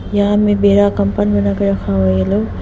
यहां में बेडा कंपन बनाकर रखा हुआ है ये लोग।